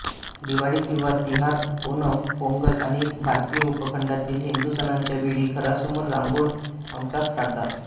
दिवाळी किंवा तिहार ओणम पोंगल आणि भारतीय उपखंडातील हिंदू सणांच्या वेळी घरासमोर रांगाोळ हमखास काढतात